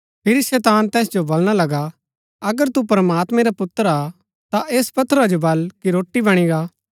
फिरी शैतान तैस जो बलणा लगा अगर तू प्रमात्मैं रा पुत्र हा ता ऐस पत्थरा जो बल कि रोटी बणी गा